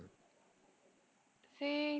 ସେଇ